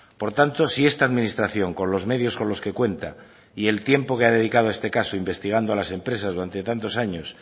por tanto si esta administración con los medios con los que cuenta y el tiempo que ha dedicado a este caso investigando a las empresas durante tantos años